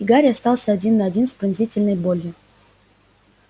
и гарри остался один на один с пронзительной болью